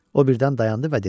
O birdən dayandı və dedi.